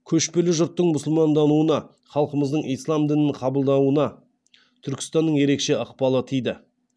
көшпелі жұрттың мұсылмандануына халқымыздың ислам дінін қабылдауына түркістанның ерекше ықпалы тиді